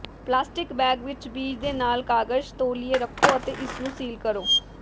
plastic bag ਵਿੱਚ ਬੀਜ ਦੇ ਨਾਲ ਕਾਗਜ਼ ਤੌਲੀਏ ਰੱਖੋ ਅਤੇ ਇਸ ਨੂੰ ਸੀਲ ਕਰੋ